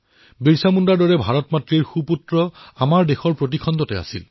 বিৰছা মুণ্ডাৰ দৰে ভাৰত মাতাৰ সুপুত্ৰ দেশৰ চাৰিও প্ৰান্তত আছে